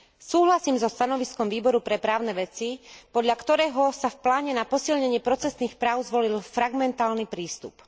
Súhlasím so stanoviskom Výboru pre právne veci, podľa ktorého sa v pláne na posilnenie procesných práv zvolil fragmentálny prístup.